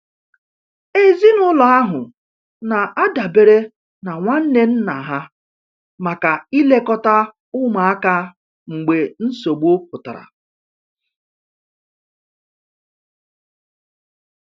Ezinụlọ ahụ na-adabere na nwanne nna ha maka ilekọta ụmụaka mgbe nsogbu pụtara.